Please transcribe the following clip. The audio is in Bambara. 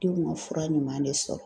Denw ka fura ɲuman de sɔrɔ.